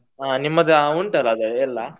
ಹ ನಿಮ್ಮದು ಉಂಟಲ್ಲ ಅದೆ ಎಲ್ಲಾ.